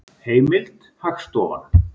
Heimild: Hagstofan.